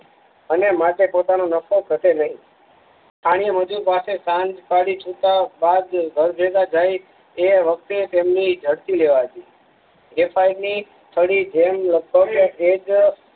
અને માટે પોતાનું નફો ઘટે નહ આણીએ મજુર પાસે સાંજ પાડી છુટા વ બાદ ઘર ભેગા જાઈ એ વખતે તેમની જડતી લેવાતી ગ્રેફાઇટ ની છડી જેમ